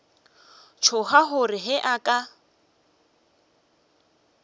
tšhoga gore ge a ka